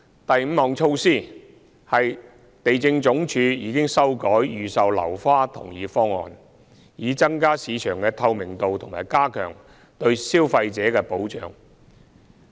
第五項措施，是地政總署已修改預售樓花同意方案，以增加市場的透明度和加強對消費者的保障。